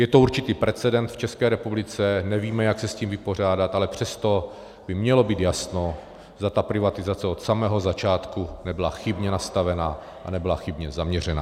Je to určitý precedens v České republice, nevíme, jak se s tím vypořádat, ale přesto by mělo být jasno, zda ta privatizace od samého začátku nebyla chybně nastavena a nebyla chybně zaměřena.